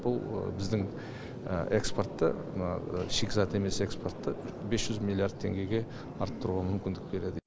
бұл біздің экспортты мына шикізат емес экспортты бес жүз миллиард теңгеге арттыруға мүмкіндік береді